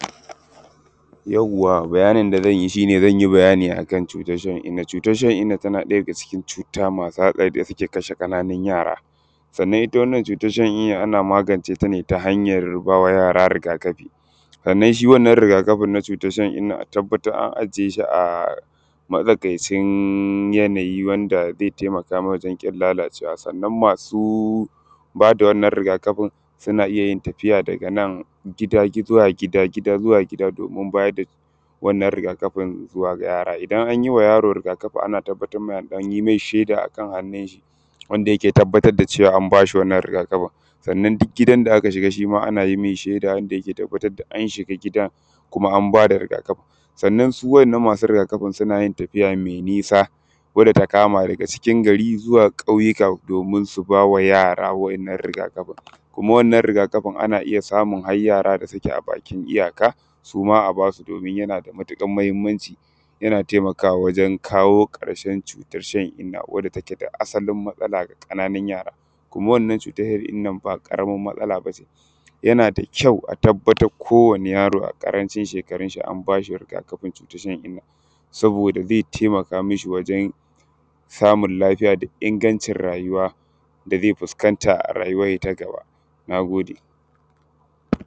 yawwa bayanin da zan yi shi ne zan yi bayani a kan cutar shan inna xxx cutar shan inna tana ɗaya daga cikin cuta masu hatsari da suke kashe ƙananun yara sannan ita wannan cutar shan inna ana magance ta ne ta hanyar ba wa yara riga kafi sannan shi wannan riga kafin na cutar shan inna a tabbatar an ajiye shi a matsakaicin yanayi wanda zai taimaka mai wajen ƙin lalacewa sannan masu ba da wannan riga kafin suna iya yin tafiya daga nan gida zuwa gida gida zuwa gida domin bayar da wannan riga kafin zuwa ga yara idan an yi wa yaro riga kafi ana tabbatar da an ɗan yi mai shaida a kan hannunshi wanda yake tabbatar da cewa an ba shi wannan riga kafin sannan duk gidan da aka shiga shi ma ana yi mai shaida don tabbatar da an shiga gidan kuma an ba da riga kafin sannan su waɗannan masu riga kafin suna yin tafiya mai nisa wadda ta kama daga cikin gari zuwa ƙauyuka domin su ba wa yara wannan riga kafin kuma wannan riga kafin ana iya samun har yara da suke a bakin iyaka su ma a ba su domin yana da matuƙar muhimmanci yana taimakawa wajen kawo ƙarshen cutar shan inna wadda take da asalin matsala ga ƙananun yara kuma wannan cutar shan inna ba ƙaramar matsala ba ce yana da kyau a tabbatar kowane yaro a ƙarancin shekarunshi an ba shi riga kafin cutar cutar shan inna saboda zai taimaka mashi wajen samun lafiya da ingancin rayuwa da zai fuskanta a rayuwarshi ta gaba na gode